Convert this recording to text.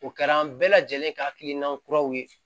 O kɛra an bɛɛ lajɛlen ka hakilina kuraw ye